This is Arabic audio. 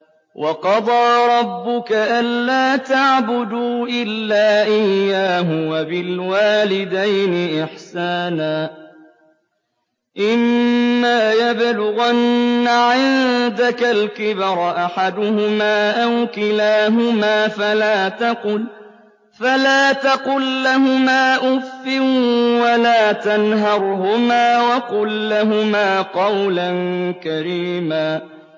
۞ وَقَضَىٰ رَبُّكَ أَلَّا تَعْبُدُوا إِلَّا إِيَّاهُ وَبِالْوَالِدَيْنِ إِحْسَانًا ۚ إِمَّا يَبْلُغَنَّ عِندَكَ الْكِبَرَ أَحَدُهُمَا أَوْ كِلَاهُمَا فَلَا تَقُل لَّهُمَا أُفٍّ وَلَا تَنْهَرْهُمَا وَقُل لَّهُمَا قَوْلًا كَرِيمًا